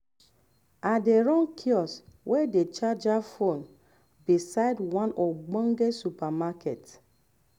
i dey run kiosk whey dey charger phone beside the one ogbonge supermarket